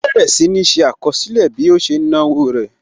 Ó bẹ̀rẹ̀ sì ní ṣé àkọsílẹ̀ bí ó ṣe ń náwó rẹ̀